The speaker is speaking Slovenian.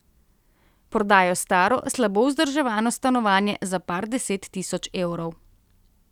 Prodajo staro, slabo vzdrževano stanovanje za par deset tisoč evrov.